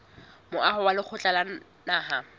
moaho wa lekgotla la naha